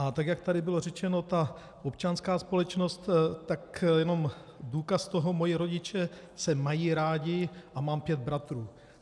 A tak jak tady bylo řečeno, ta občanská společnost - tak jenom důkaz toho: Moji rodiče se mají rádi a mám pět bratrů.